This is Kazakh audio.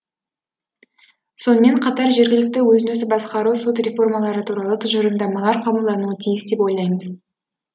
сонымен қатар жергілікті өзін өзі басқару сот реформалары туралы тұжырымдамалар қабылдануы тиіс деп ойлаймыз